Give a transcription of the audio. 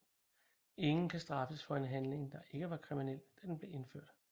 Ingen kan straffes for en handling der ikke var kriminel da den blev udført